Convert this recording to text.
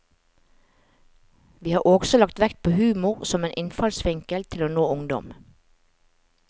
Vi har også lagt vekt på humor som en innfallsvinkel til å nå ungdom.